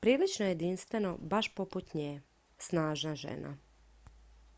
prilično jedinstveno baš poput nje. snažna žena.""